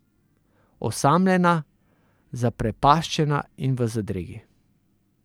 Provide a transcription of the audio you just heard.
Osamljena, zaprepaščena in v zadregi.